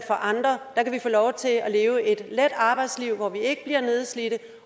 andre kan få lov til at leve et let arbejdsliv hvor vi ikke bliver nedslidte